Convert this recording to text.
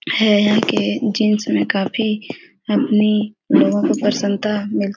है है के जीन्स में काफी अपनी लोगों को परसन्नता मिल --